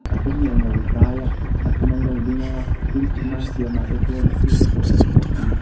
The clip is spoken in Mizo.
a then hi an lo zai a a then anlo ding a tin thutna an siam ah te chuan thu te pawh an awm bawk ani.